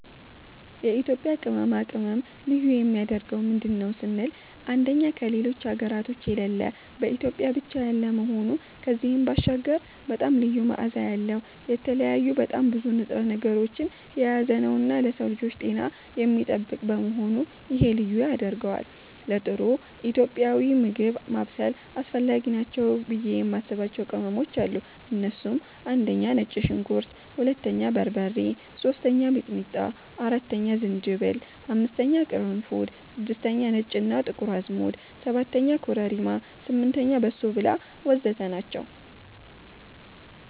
የኢትዮጵያ ቅመማ ቅመም ልዩ የሚያደርገው ምንድን ነው ስንል አንደኛ ከሌሎች ሀገራቶች የሌለ በኢትዮጵያ ብቻ ያለ መሆኑ ከዚህም ባሻገር በጣም ልዩ መዓዛ ያለዉ፣ የተለያዩ በጣም ብዙ ንጥረ ነገሮችን የያዘነዉና ለሰዉ ልጆች ጤናን የሚጠብቅ በመሆኑ ይሄ ልዩ ያደርገዋል። ለጥሩ ኢትዮጵያዊ ምግብ ማብሰል አስፈላጊ ናቸው ብዬ የማስባቸዉ ቅመሞች አሉ እነሱም፦ 1)ነጭ ሽንኩርት 2)በርበሬ 3)ሚጥሚጣ 4)ዝንጅብል 5)ቅርንፉድ 6)ነጭ እና ጥቁር አዝሙድ 7)ኮረሪማ 8)በሶብላ ወዘተ ናቸዉ።